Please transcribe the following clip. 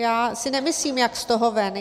Já si nemyslím jak z toho ven.